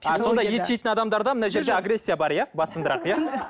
ет жейтін адамдарда мына жерде агрессия бар иә басымдырақ иә